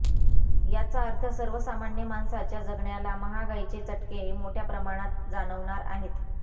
याचा अर्थ सर्वसामान्य माणसाच्या जगण्याला महागाईचे चटके मोठय़ा प्रमाणात जाणवणार आहेत